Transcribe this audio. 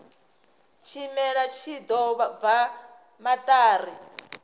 tshimela tshi ḓo bva maṱari